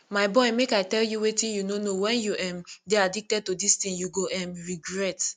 my boy make i tell you wetin you no know wen you um dey addicted to dis thing you go um regret